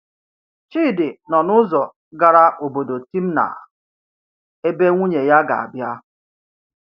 Chidi nọ n’ụzọ gara obodo Timnah, ebe nwunye ya ga-abịa.